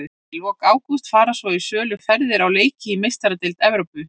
Í lok ágúst fara svo í sölu ferðir á leiki í Meistaradeild Evrópu.